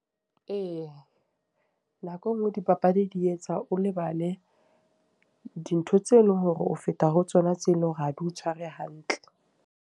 Ee, nako e nngwe dipapadi di etsa o lebale, dintho tse leng hore ho feta ho tsona tseo e leng hore ha di o tshware hantle.